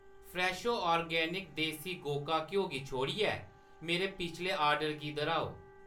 Fresho organic देसी गोका घ्यो गी छोड़ियै मेरे पिछले आर्डर गी दर्‌हाओ।